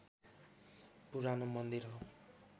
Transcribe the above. पुरानो मन्दिर हो